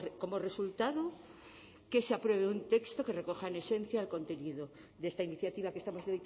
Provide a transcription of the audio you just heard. como resultado que se apruebe un texto que recoja en esencia el contenido de esta iniciativa que estamos